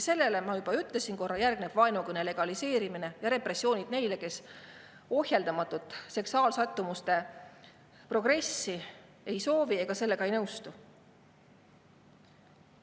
Sellele, ma juba korra ütlesin, järgnevad vaenukõne legaliseerimine ja repressioonid nende suhtes, kes ohjeldamatut seksuaalsättumuste progressi ei soovi ega nõustu sellega.